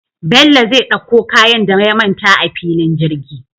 Bello zai ɗakko kayan da ya manta a fillin jirgi